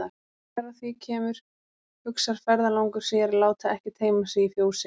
Þegar að því kemur hugsar ferðalangur sér að láta ekki teyma sig í fjósið.